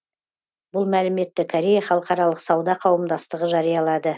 бұл мәліметті корея халықаралық сауда қауымдастығы жариялады